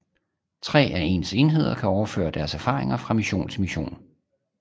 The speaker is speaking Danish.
Tre af ens enheder kan overføre deres erfaring fra mission til mission